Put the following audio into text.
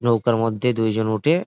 নৌকার মধ্যে দুই জন উঠে--